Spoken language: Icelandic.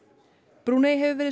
Brúnei hefur verið